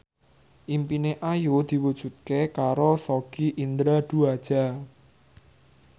impine Ayu diwujudke karo Sogi Indra Duaja